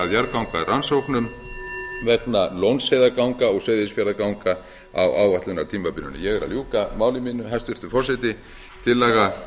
að því að unnið verði að jarðgangarannsóknum vegna lónsheiðarganga og seyðisfjarðarganga á áætlunartímabilinu ég er að ljúka máli mínu hæstvirtur forseti tillaga